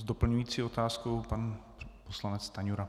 S doplňující otázkou pan poslanec Stanjura.